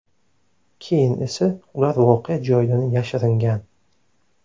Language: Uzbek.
Keyin esa ular voqea joyidan yashiringan.